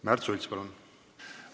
Märt Sults, palun!